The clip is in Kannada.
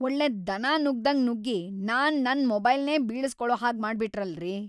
ಒಳ್ಳೆ ದನ ನುಗ್ದಂಗ್‌ ನುಗ್ಗಿ ನಾನ್‌ ನನ್‌ ಮೊಬೈಲ್ನೇ ಬೀಳ್ಸ್‌ಕೊಳೋ ಹಾಗ್‌ ಮಾಡ್ಬಿಟ್ರಲ್ರೀ!